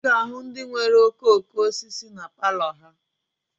Ị ga-ahụ ndị nwere okooko osisi na palọ ha